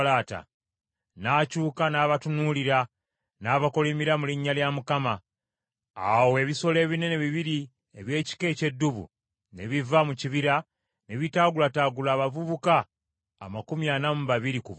N’akyuka n’abatunuulira, n’abakolimira mu linnya lya Mukama . Awo ebisolo ebinene bibiri eby’ekika eky’eddubu ne biva mu kibira ne bitaagulataagula abavubuka amakumi ana mu babiri ku bo.